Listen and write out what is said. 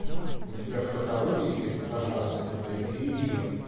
у тебя в каталоге есть пожалуйста найди ее